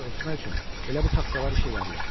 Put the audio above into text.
Oranı örtmək üçün elə bu taxtalar işə yarayar.